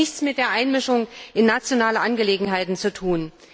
Das hat nichts mit Einmischung in nationale Angelegenheiten zu tun!